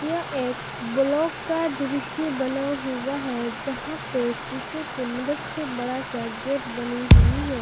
यह एक ब्लॉक का दृश्य बना हुआ है जहां पर शीशे के मदद से बड़ा सा गेट बनी हुई है।